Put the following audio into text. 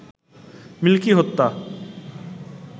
milky হত্যা